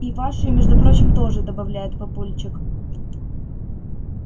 и вашей между прочим тоже добавляет папульчик